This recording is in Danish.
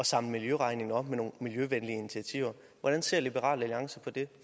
samle miljøregningen op med nogle miljøvenlige initiativer hvordan ser liberal alliance på det